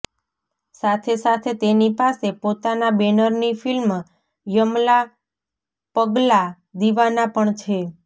સાથે સાથે તેની પાસે પોતાના બેનરની ફિલ્મ યમલા પગલા દિવાના પણ છે